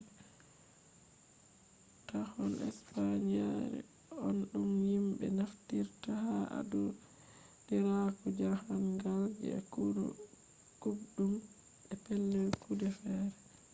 tahon spanish yare on dum himbe naftiritta ha adiraaku jahangal je kuubdum be pellel kude fere